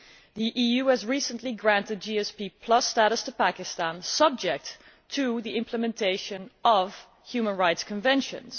The EU has recently granted GSP status to Pakistan, subject to the implementation of human rights conventions.